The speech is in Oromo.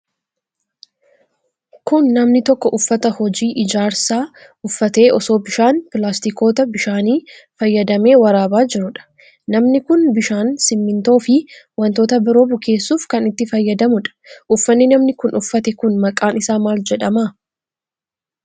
Kun, namni tokko uffata hojii ijaarsaa uffatee osoo bishaan pilaastikoota bishaanii fayyadamee waraabaa jiruudha. Namni kun, bishaan simiintoo fi wantoota biroo bukeesssuuf kan itti fayyadamuu dha. Uffanni namni kun uffate kun, maqaan isaa maal jedhama.